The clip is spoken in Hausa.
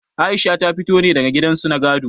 Aisha ta fito ne daga gidan su na gado.